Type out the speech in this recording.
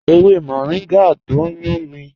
Ẹ̀wẹ̀ mọ̀ríngà tó n yùn mí